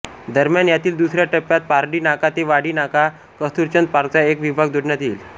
दरम्यान यातील दुसऱ्या टप्प्यात पारडी नाका ते वाडी नाका कस्तुरचंद पार्कचा एक विभाग जोडण्यात येईल